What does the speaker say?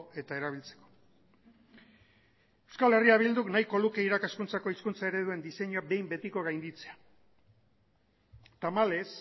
eta erabiltzeko euskal herria bilduk nahiko luke irakaskuntzako hizkuntza ereduen diseinuak behin betiko gainditzea tamalez